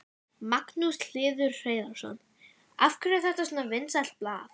Magnús Hlynur Hreiðarsson: Af hverju er þetta svona vinsælt blað?